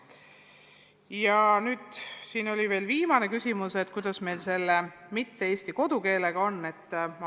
Ja nüüd on siin veel viimane küsimus, kuidas meil selle mitte-eesti kodukeelega on.